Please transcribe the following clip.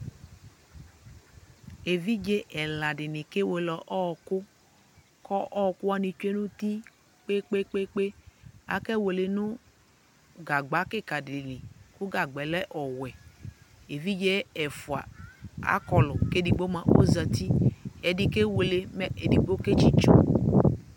Evidze ɛla dɩnɩ kewele ɔɔkʋ, k'ɔ ɔɔkʋwanɩ tsue n'uti kpekpekpekpe Akewele nʋ gagba kɩkadɩ li , kʋ gagbaɛ lɛ ɔwɛ Evidze ɛfʋa akɔlʋ k'edigbo mʋa ozati: ɛdɩ kewele mɛ ɛdɩ ketsitso